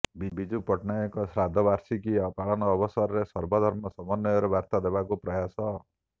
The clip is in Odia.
ବିଜୁ ପଟ୍ଟନାୟକଙ୍କ ଶ୍ରାଦ୍ଧବାର୍ଷିକୀ ପାଳନ ଅବସରରେ ସର୍ବଧର୍ମ ସମନ୍ୱୟର ବାର୍ତା ଦେବାକୁ ପ୍ରୟାସ